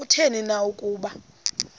kutheni na ukuba